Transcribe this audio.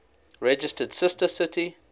registered sister city